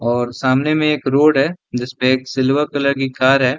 और सामने में एक रोड है जिसपे एक सिल्वर कलर की कार है।